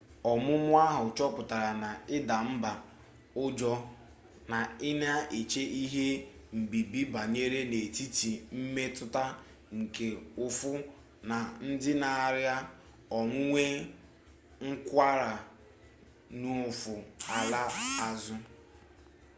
ọmụmụ ahụ chọpụtara na ịda mba ụjọ na ị na-eche ihe mbibi banyere n'etiti mmetụta nke ụfụ na ndị na-arịa onwunwe nkwarụ n'ụfụ ala azụ